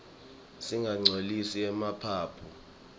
singatinqcolisi emaphaphu